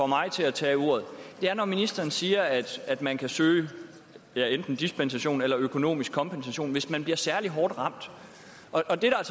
mig til at tage ordet er når ministeren siger at at man kan søge enten dispensation eller økonomisk kompensation hvis man bliver særlig hårdt ramt og der er